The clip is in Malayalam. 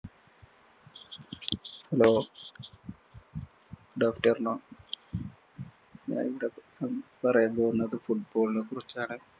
hello ഞാനിവിടെ പറയാന്‍ പോകുന്നത് football നെ കുറിച്ചാണ്.